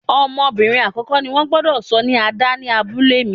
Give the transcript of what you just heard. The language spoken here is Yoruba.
Ọmọbìnrin àkọ́kọ́ ni wón gbúdọ̀ sọ ní Ada ni abúlé mi.